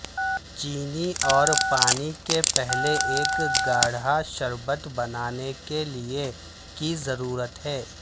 چینی اور پانی کے پہلے ایک گاڑھا شربت بنانے کے لئے کی ضرورت ہے